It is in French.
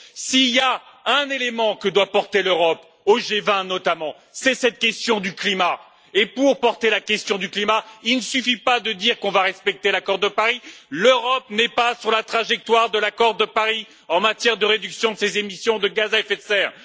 S'il y a un élément que doit porter l'Europe au G20, notamment, c'est cette question du climat et, pour porter cette question, il ne suffit pas de dire que l'on va respecter l'accord de Paris l'Europe n'est pas sur la trajectoire de l'accord de Paris en matière de réduction de ses émissions de gaz à effet de serre.